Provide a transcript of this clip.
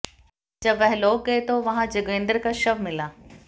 जब वह लोग गए तो वहां जोगेंद्र का शव मिला